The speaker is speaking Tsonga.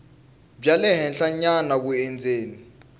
bya le henhlanyana vundzeni